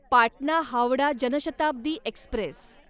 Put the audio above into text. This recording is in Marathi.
पाटणा हावडा जनशताब्दी एक्स्प्रेस